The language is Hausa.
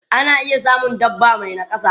Ana iya samun dabba mai nakasa.